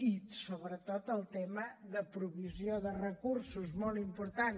i sobretot el tema de provisió de recursos molt important